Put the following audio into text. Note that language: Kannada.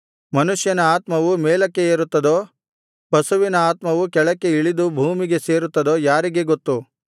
ಮನುಷ್ಯನ ಆತ್ಮವು ಮೇಲಕ್ಕೆ ಏರುತ್ತದೋ ಪಶುವಿನ ಆತ್ಮವು ಕೆಳಕ್ಕೆ ಇಳಿದು ಭೂಮಿಗೆ ಸೇರುತ್ತದೋ ಯಾರಿಗೆ ಗೊತ್ತು